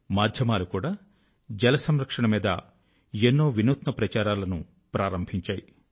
మాధ్యమాలు కూడా జలసంరక్షణ మీద ఎన్నో నవీన ప్రచారాల ను ప్రారంభించాయి